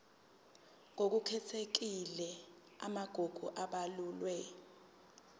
ngokukhethekile amagugu abalulwe